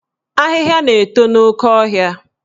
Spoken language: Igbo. Ahịhịa na-eto n'oke ọhịa